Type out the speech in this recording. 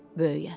Böyük ata.